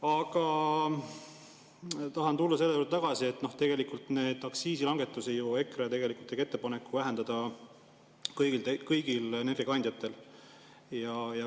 Aga tahan tulla selle juurde tagasi, et tegelikult EKRE ju tegi ettepaneku aktsiise vähendada kõigil kandjatel.